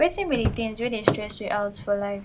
wetin be di things wey dey stress you out for life